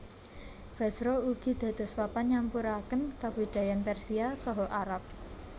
Basra ugi dados papan nyampuraken kabudayan Persia saha Arab